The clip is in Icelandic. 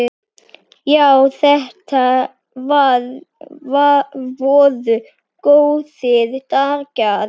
Já, þetta voru góðir dagar.